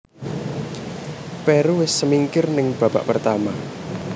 Peru wis semingkir ning babak pertama